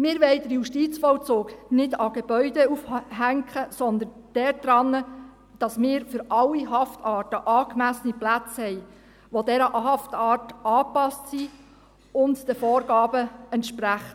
Wir wollen den Justizvollzug nicht an Gebäuden aufhängen, sondern daran, dass wir für alle Haftarten angemessene Plätze haben, die dieser Haftart angepasst sind und den Vorgaben entsprechen,